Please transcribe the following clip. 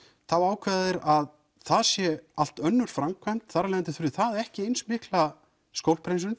þá ákveða þeir að það sé allt önnur framkvæmd og þar af leiðandi þurfi það ekki eins mikla